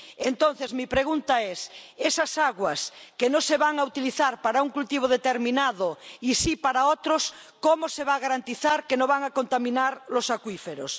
Entonces, mi pregunta es esas aguas que no se van a utilizar para un cultivo determinado y sí para otros, ¿cómo se va a garantizar que no van a contaminar los acuíferos?